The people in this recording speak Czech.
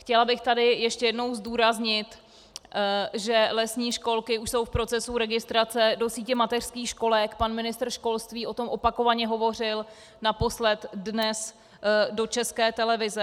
Chtěla bych tady ještě jednou zdůraznit, že lesní školky už jsou v procesu registrace do sítě mateřských školek, pan ministr školství o tom opakovaně hovořil, naposled dnes do České televize.